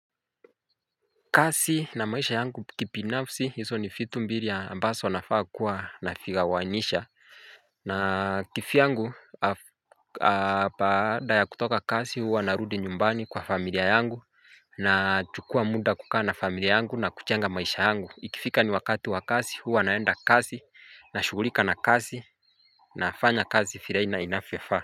Kazi na maisha yangu kibinafsi hizo ni vitu mbili ambazo nafaa kuwa navigawanisha na kivyangu baada ya kutoka kazi huu narudi nyumbani kwa familia yangu nachukua muda kukaa na familia yangu nakujenga maisha yangu Ikifika ni wakati wa kazi huwa naenda kazi nashugulika na kazi nafanya kazi vile inavyofaa.